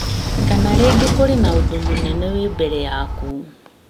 Kana rĩngĩ kũrĩ na ũndũ mũnene wĩ mbere yaku